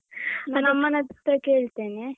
ನನ್ನಮ್ಮನತ್ರ ಕೇಳ್ತೇನೆ.